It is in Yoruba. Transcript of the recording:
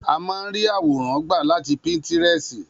A má a ń ríí àwòrán gbà láti Píńtírẹ́sì